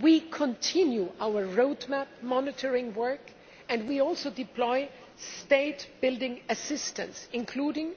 We continue our road map monitoring work, and we also deploy state building assistance, including